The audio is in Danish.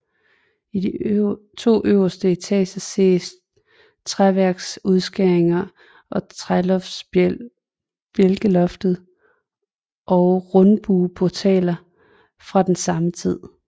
I de to øverste etager ses træværksudskæringer i træbjælkeloftet og rundbueportaler fra den samme tid